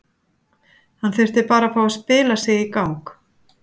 Hann þurfti bara að fá að spila sig í gang.